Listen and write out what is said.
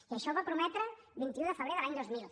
i això ho va prometre el vint un de febrer de l’any dos mil